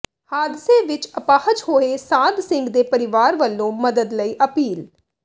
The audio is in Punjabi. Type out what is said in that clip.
ਹਾਦਸੇ ਵਿੱਚ ਅਪਾਹਜ ਹੋਏ ਸਾਧ ਸਿੰਘ ਦੇ ਪਰਿਵਾਰ ਵੱਲੋਂ ਮਦਦ ਲਈ ਅਪੀਲ